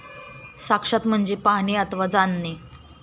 साक्षात म्हणजे पाहणे अथवा जाणणे.